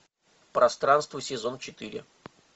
пространство сезон четыре